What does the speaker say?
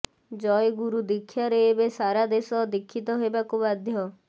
ଜୟଗୁରୁ ଦୀକ୍ଷାରେ ଏବେ ସାରା ଦେଶ ଦୀକ୍ଷିତ ହେବାକୁ ବାଧ୍ୟ